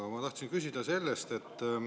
Aga ma tahtsin küsida selle kohta.